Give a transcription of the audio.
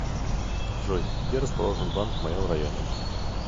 джой где расположен банк в моем районе